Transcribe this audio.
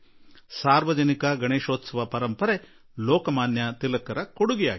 ಸಾರ್ವಜನಿಕ ಗಣೇಶೋತ್ಸವದ ಪರಂಪರೆ ಲೋಕಮಾನ್ಯ ತಿಲಕ್ ಜೀ ಅವರ ದೇಣಿಗೆಯಾಗಿದೆ